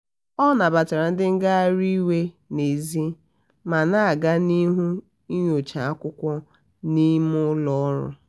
ọ nabatara ndị ngagharị iwe n'èzí ma na-aga n'ihu nyocha akwụkwọ n'ime ụlọ ọrụ.